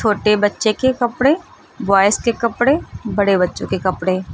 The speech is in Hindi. छोटे बच्चों के कपड़े बॉयस के कपड़े बड़े बच्चों के कपड़े--